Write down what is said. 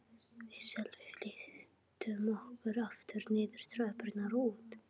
Við Sölvi flýttum okkur aftur niður tröppurnar og út.